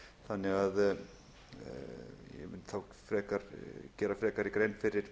þannig að ég mun þá gera frekari grein fyrir